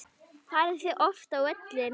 Farið þið oft á völlinn?